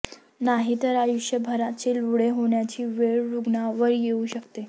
नाही तर आयुष्यभराचे लुळे होण्याची वेळ रुग्णावर येऊ शकते